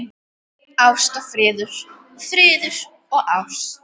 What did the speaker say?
Ást og friður, friður og ást.